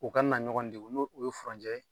U kana na ɲɔgɔn degun n'o u ye furancɛ